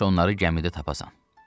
Çalış onları gəmidə tapasan.